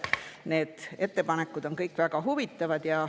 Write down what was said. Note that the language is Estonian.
Need ettepanekud on kõik väga huvitavad.